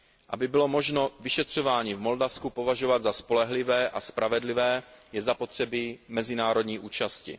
Aby bylo možno vyšetřování v Moldavsku považovat za spolehlivé a spravedlivé, je zapotřebí mezinárodní účasti.